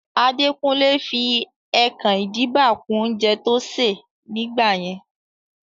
Adekunle fi ẹkan-idiba kún oúnjẹ tó ṣè ní gbà yẹn